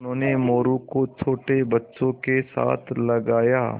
उन्होंने मोरू को छोटे बच्चों के साथ लगाया